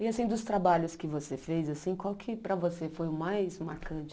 E assim, dos trabalhos que você fez assim, qual que para você foi o mais marcante?